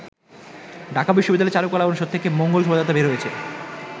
ঢাকা বিশ্ববিদ্যালয়ের চারুকলা অনুষদ থেকে মঙ্গল শোভাযাত্রা বের হয়েছে।